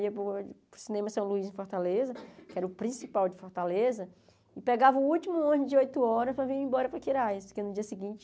Eu ia para o cinema São Luís, em Fortaleza, que era o principal de Fortaleza, e pegava o último ônibus de oito horas para vir embora para Quirais, porque no dia seguinte...